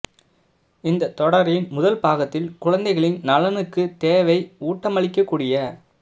இந்த தொடரின் முதல் பாகத்தில் குழந்தைகளின் நலனுக்குத் தேவை ஊட்டமளிக்கக்கூடிய